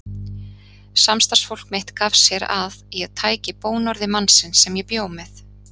Samstarfsfólk mitt gaf sér að ég tæki bónorði mannsins sem ég bjó með.